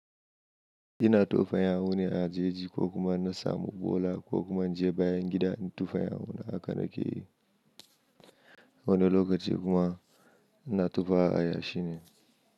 Ina tofa yahu ne a jeji ko kuma na samu bola ko kuma je bayan gidan tufan yahu na akan rage. Wani lokaci kuma na tofa a yashi ne.